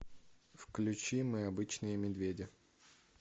включи мы обычные медведи